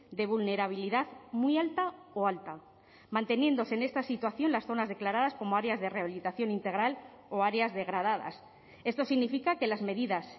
de vulnerabilidad muy alta o alta manteniéndose en esta situación las zonas declaradas como áreas de rehabilitación integral o áreas degradadas esto significa que las medidas